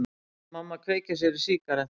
Mamma kveikir sér í sígarettu.